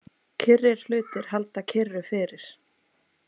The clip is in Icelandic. Kyrrir hlutir halda kyrru fyrir.